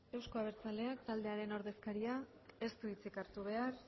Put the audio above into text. euzko abertzaleak taldearen ordezkaria ez du hitzik hartu behar